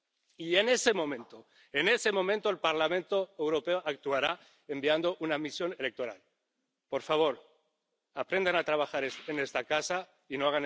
Y, en ese momento, en ese momento, el Parlamento Europeo actuará enviando una misión electoral. Por favor, aprendan a trabajar en esta casa y no